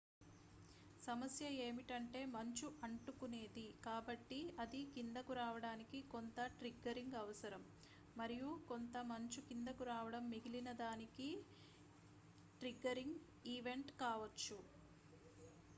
సమస్య ఏమిటంటే మంచు అంటుకునేది కాబట్టి అది కిందకు రావడానికి కొంత ట్రిగ్గరింగ్ అవసరం మరియు కొంత మంచు కిందకు రావడం మిగిలిన దానికి ట్రిగ్గరింగ్ ఈవెంట్ కావచ్చు